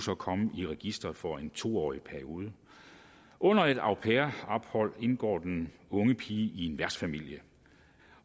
komme i registeret for en to årig periode under et au pair ophold indgår den unge pige i en værtsfamilie